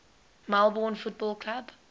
melbourne football club